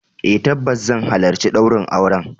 Eh tabbas zan halarci daurin auren.